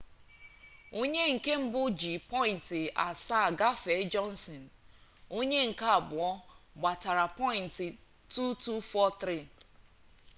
onye nke mbụ ji pọyịnt asaa gafee jọnsịn onye nke abụọ gbatara pọyịnt 2243